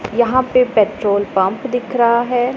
यहां पे petrol pump दिख रहा है।